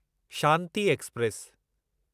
Shanti express